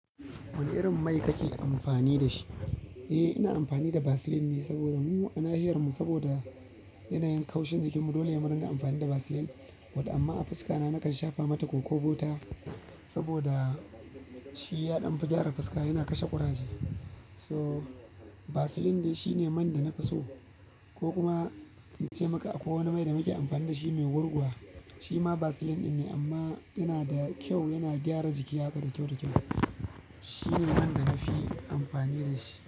Wane irin mai kake amfani da shi? Eh, ina amfani da Vaseline ne saboda mu a nahiyar mu saboda yanayin kaushin jikin mu dole ne mu ringa amfani da Vaseline. But amma a fuska na nakan shafa mata koko butter saboda shi yaɗan fi gyara fuska yana kashe ƙuraje. So, Vaseline dai shine man da na fi so ko kuma in ce maka akwai wani mai da muke amfani da shi mai gurguwa. Shi ma Vaseline ɗin ne amma yana da kyau, yana gyara jiki haka da kyau-da kyau. Shi ne man da na fi amfani da shi.